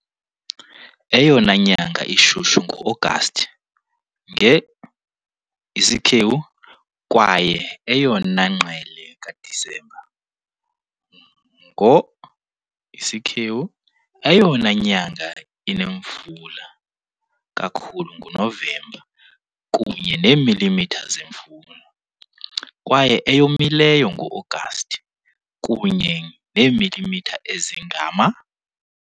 Eyona nyanga ishushu nguAgasti, nge , kwaye eyona ngqele kaDisemba, ngo . Eyona nyanga inemvula kakhulu nguNovemba, kunye neemilimitha zemvula, kwaye eyomileyo nguAgasti, kunye neemilimitha ezingama.